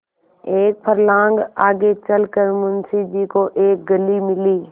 एक फर्लांग आगे चल कर मुंशी जी को एक गली मिली